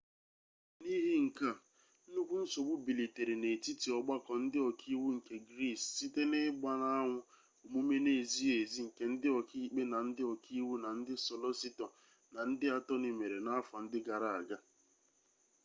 n'ihi nke a nnukwu nsogbu bilitere n'etiti ọgbakọ ndị oka iwu nke gris site na-igba n'anwụ omume n'ezighi ezi nke ndị ọka ikpe na ndị oka iwu na ndị solositọ na ndị atoni mere n'afọ ndị gara aga